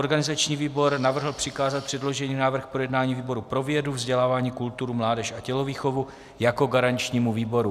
Organizační výbor navrhl přikázat předložený návrh k projednání výboru pro vědu, vzdělání, kulturu, mládež a tělovýchovu jako garančnímu výboru.